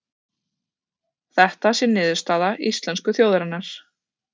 Þetta sé niðurstaða íslensku þjóðarinnar